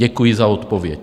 Děkuji za odpověď.